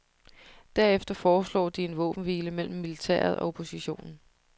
Derefter foreslår de en våbenhvile mellem militæret og oppositionen.